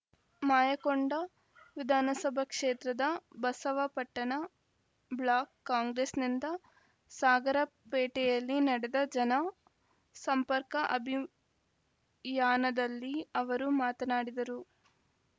ಮಾಯಕೊಂಡ ವಿಧಾನಸಭಾ ಕ್ಷೇತ್ರದ ಬಸವಾಪಟ್ಟಣ ಬ್ಲಾಕ್‌ ಕಾಂಗ್ರೆಸ್‌ನಿಂದ ಸಾಗರಪೇಟೆಯಲ್ಲಿ ನಡೆದ ಜನ ಸಂಪರ್ಕ ಅಭಿಯಾನದಲ್ಲಿ ಅವರು ಮಾತನಾಡಿದರು